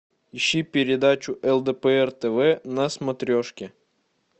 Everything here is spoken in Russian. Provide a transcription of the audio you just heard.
ищи передачу лдпр тв на смотрешке